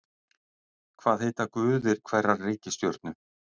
Hvað heita guðir hverrar reikistjörnu?